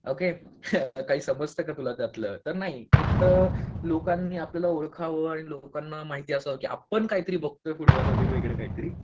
Okay काही समजतं का तुला त्यातलं? नाही. फक्त लोकांनी आपल्याला ओळखावं आणि लोकांना माहिती असावं की आपण काहीतरी बघतोय फुटबॉल वगैरे वेगळ काहीतरी.